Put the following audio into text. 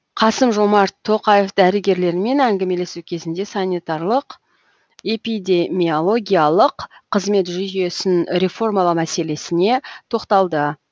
қасым жомарт тоқаев дәрігерлермен әңгімелесу кезінде санитарлық эпидемиологиялық қызмет жүйесін реформалау мәселесіне тоқталды